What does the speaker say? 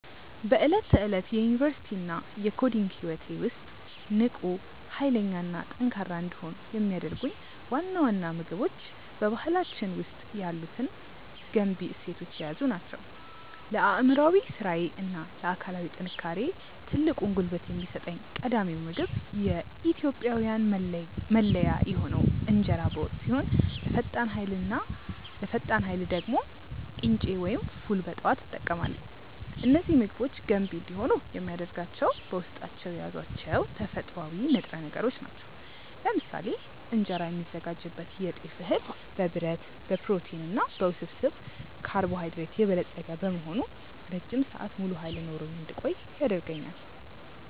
በዕለት ተዕለት የዩኒቨርሲቲ እና የኮዲንግ ህይወቴ ውስጥ ንቁ፣ ኃይለኛ እና ጠንካራ እንድሆን የሚያደርጉኝ ዋና ዋና ምግቦች በባህላችን ውስጥ ያሉትን ገንቢ እሴቶች የያዙ ናቸው። ለአእምሯዊ ስራዬ እና ለአካላዊ ጥንካሬዬ ትልቁን ጉልበት የሚሰጠኝ ቀዳሚው ምግብ የኢትዮጵያዊያን መለያ የሆነው እንጀራ በወጥ ሲሆን፣ ለፈጣን ኃይል ደግሞ ቅንጬ ወይም ፉል በጠዋት እጠቀማለሁ። እነዚህ ምግቦች ገንቢ እንዲሆኑ የሚያደርጋቸው በውስጣቸው የያዟቸው ተፈጥሯዊ ንጥረ ነገሮች ናቸው። ለምሳሌ እንጀራ የሚዘጋጅበት የጤፍ እህል በብረት፣ በፕሮቲን እና በውስብስብ ካርቦሃይድሬት የበለጸገ በመሆኑ ረጅም ሰዓት ሙሉ ኃይል ኖሮኝ እንድቆይ ያደርገኛል።